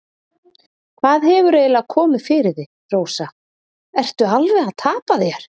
Hvað hefur eiginlega komið fyrir þig, Rósa, ertu alveg að tapa þér?